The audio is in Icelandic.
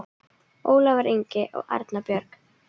Ólafur Ingi og Erna Björg.